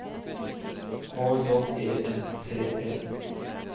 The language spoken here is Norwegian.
K J E N T E